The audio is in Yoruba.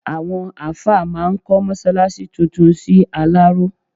Àwọn àáfà máa kọ́ mọ́ṣáláṣí tuntun sí Aláró.